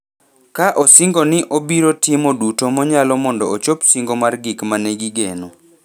ka osingo ni obiro timo duto moyalo mondo ochop singo mar gik ma ne gigeno.